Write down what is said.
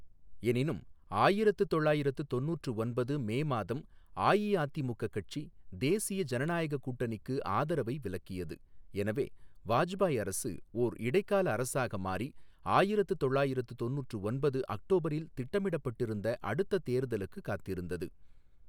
எனினும், ஆயிரத்து தொள்ளாயிரத்து தொண்ணூற்று ஒன்பது மே மாதம் அஇஅதிமுக கட்சி தேசிய ஜனநாயகக் கூட்டணிக்கு ஆதரவை விலக்கியது, எனவே வாஜ்பாய் அரசு ஓர் இடைக்கால அரசாக மாறி ஆயிரத்து தொள்ளாயிரத்து தொண்ணூற்று ஒன்பது அக்டோபரில் திட்டமிடப்பட்டிருந்த அடுத்த தேர்தலுக்குக் காத்திருந்தது.